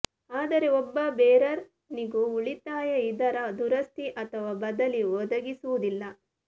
ಆದರೆ ಒಬ್ಬ ಬೇರರ್ ನಿಗೂ ಉಳಿತಾಯ ಇದರ ದುರಸ್ತಿ ಅಥವಾ ಬದಲಿ ಒದಗಿಸುವುದಿಲ್ಲ